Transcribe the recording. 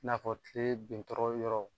I n'a fɔ tile bin tɔ yɔrɔ